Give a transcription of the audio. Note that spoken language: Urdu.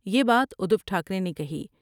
یہ بات ادھوٹھا کرے نے کہی ۔